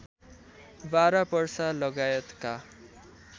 बारा पर्सा लगायतका